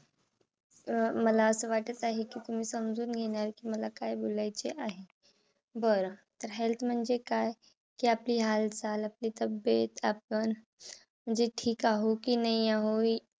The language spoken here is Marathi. अं मला अस वाटत आहे कि तुम्ही समजून घेणार. कि मला काय बोलायचे आहे. बर! तर health म्हणजे काय, कि आपली हालचाल आपली तब्बेत आपण म्हणजे ठीक आहो कि नाही आहो?